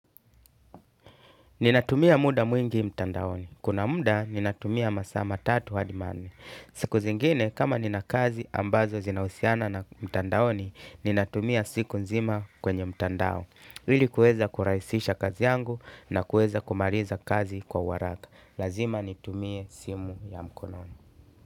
Ninatumia muda mwingi mtandaoni. Kuna muda, ninatumia masaa matatu hadi manne. Siku zingine, kama ninakazi ambazo zinahusiana na mtandaoni, ninatumia siku nzima kwenye mtandao. Ili kueza kurahisisha kazi yangu na kueza kumaliza kazi kwa uharaka. Lazima nitumie simu ya mkononi.